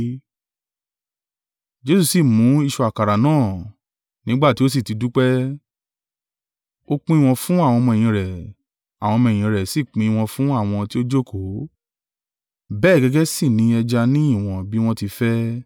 Jesu sì mú ìṣù àkàrà náà. Nígbà tí ó sì ti dúpẹ́, ó pín wọn fún àwọn ọmọ-ẹ̀yìn rẹ̀, àwọn ọmọ-ẹ̀yìn rẹ̀ sì pín wọn fún àwọn tí ó jókòó; bẹ́ẹ̀ gẹ́gẹ́ sì ni ẹja ní ìwọ̀n bí wọ́n ti ń fẹ́.